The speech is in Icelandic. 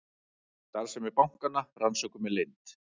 Starfsemi bankanna rannsökuð með leynd